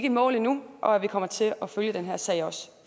i mål endnu og at vi kommer til at følge den her sag også